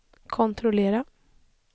kontrollera